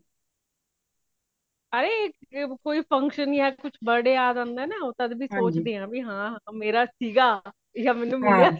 ਅਰੇ ਕੋਈ function ਯਾ ਕੁਛ birthday ਯਾਦ ਆਂਉਂਦਾ ਨਾ ਤੱਦ ਵੀ ਸੋਚਦੀ ਆ ਹਾਂ ਮੇਰਾ ਸੀਂਗਾ ਆ ਮੇਨੂ ਮਿਲਿਆ ਸੀ